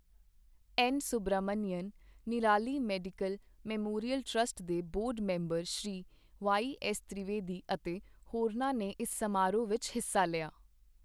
N Subramanian, Nirali medical memorial trust ਦੇ board member Shri Y S Trivedi ਅਤੇ ਹੋਰਨਾਂ ਨੇ ਇਸ ਸਮਾਰੋਹ ਵਿੱਚ ਹਿੱਸਾ ਲਿਆ।